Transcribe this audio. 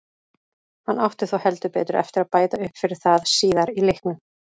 Hann átti þó heldur betur eftir að bæta upp fyrir það síðar í leiknum.